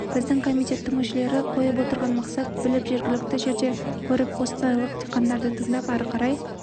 біздің комитеттің мүшелері қойып отырған мақсат біліп жергілікті жерде көріп қостанайлық диқандарды тыңдап ары қарай